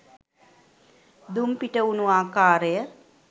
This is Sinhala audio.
දුම් පිටවුණු ආකාරය